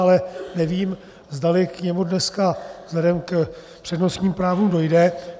Ale nevím, zdali k němu dneska vzhledem k přednostním právům dojde.